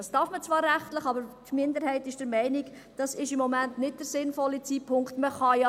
Das darf man zwar rechtlich, aber die Minderheit ist der Meinung, dass es im Moment nicht der sinnvolle Zeitpunkt ist.